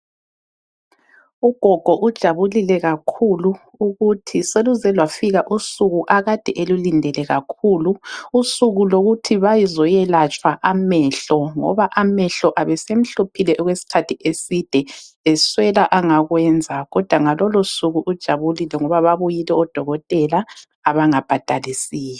Ugogo ujabulile kakhulu ukuthi seluze lwafika usuku akade elulindele kakhulu. Usuku lokuthi bazoyelatshwa amehlo ngoba amehlo abesemhluphile okwesikhathi eside eswela angakwenza kodwa ngalolo suku ujabulile ngoba babuyile odokotela abangabhadalisiyo.